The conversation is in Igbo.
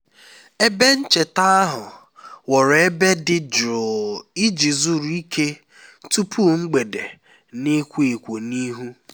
ebe ncheta ahụ ghọrọ ebe dị jụụ iji zuru ike tupu mgbede na-ekwo ekwo n'ihu